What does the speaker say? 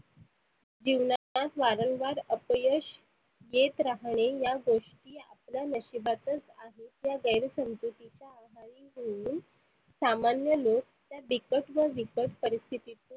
जीवनात वारंवार अपयश येत राहणे या गोष्टी आपल्या नशिबातच आहे या गैर समजुतीच्या आहारी जाऊन सामान्य लोक त्या बिकट व बिकट परिस्थीती